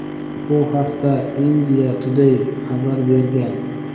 Bu haqda "India Today" xabar bergan.